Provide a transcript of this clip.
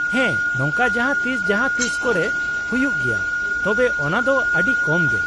ᱦᱮᱸ, ᱱᱚᱝᱠᱟ ᱡᱟᱦᱟᱸ ᱛᱤᱥ ᱡᱟᱦᱟᱸ ᱛᱤᱥ ᱠᱚᱨᱮ ᱦᱩᱭᱩᱜ ᱜᱮᱭᱟ , ᱛᱚᱵᱮ ᱚᱱᱟ ᱫᱚ ᱟᱹᱰᱤ ᱠᱚᱢ ᱜᱮ ᱾